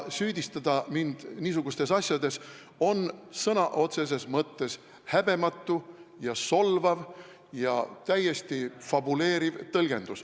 Süüdistada mind niisugustes asjades on sõna otseses mõttes häbematu, solvav ja täiesti fabuleeriv tõlgendus.